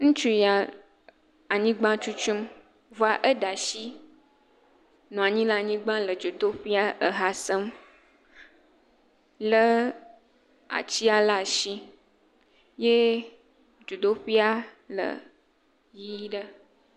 Exɔme, ŋutsu aɖe nɔ anyi ɖe xɔme, ekɔ ehasenu de to eye wonɔ eha sem nɔ nu kom. Aŋeto aɖe le egbɔ kple ezɔme tutunu aɖe eye wònɔ xɔme tutum.